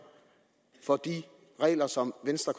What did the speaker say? for de regler som venstre